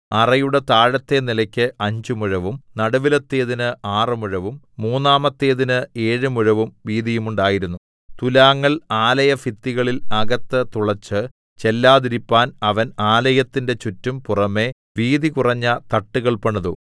അറയുടെ താഴത്തെ നിലക്ക് അഞ്ച് മുഴവും നടുവിലത്തേതിന് ആറ് മുഴവും മൂന്നാമത്തേതിന് ഏഴ് മുഴവും വീതിയുണ്ടായിരുന്നു തുലാങ്ങൾ ആലയഭിത്തികളിൽ അകത്ത് തുളച്ച് ചെല്ലാതിരിപ്പാൻ അവൻ ആലയത്തിന്റെ ചുറ്റും പുറമെ വീതി കുറഞ്ഞ തട്ടുകൾ പണിതു